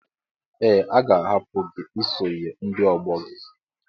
Ee, a ga-ahapụ gị isonye ndị ọgbọ gị.